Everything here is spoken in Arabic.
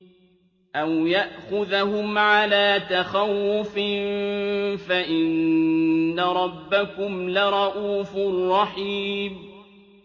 أَوْ يَأْخُذَهُمْ عَلَىٰ تَخَوُّفٍ فَإِنَّ رَبَّكُمْ لَرَءُوفٌ رَّحِيمٌ